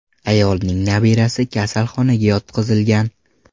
Ayolning nabirasi kasalxonaga yotqizilgan.